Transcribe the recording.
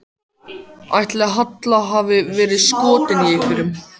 Ætli Halla hafi verið skotin í einhverjum?